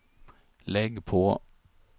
lägg på